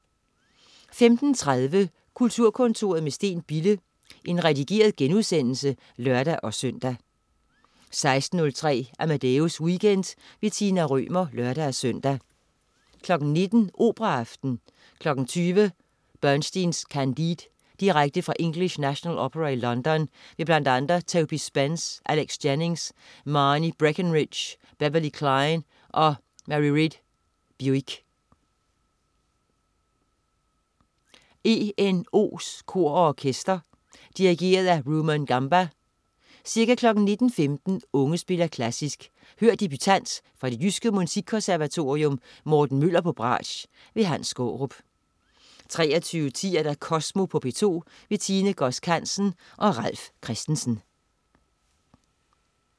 15.30 Kulturkontoret med Steen Bille. Redigeret genudsendelse (lør-søn) 16.03 Amadeus Weekend. Tina Rømer (lør-søn) 19.00 Operaaften. 20.00 Bernsteins Candide. Direkte fra English National Opera i London. Med bl.a. Toby Spence, Alex Jennings, Marnie Breckenridge, Beverley Klein og Mairéad Buicke. ENOs Kor og Orkester. Dirigent: Rumon Gamba. Ca. 19.15 Unge Spiller Klassisk. Hør debutant fra Det Jyske Musikkonservatorium Morten Møller, bratsch. Hans Skaarup 23.10 Kosmo på P2. Tine Godsk Hansen og Ralf Christensen